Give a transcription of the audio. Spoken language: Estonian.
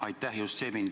Aitäh!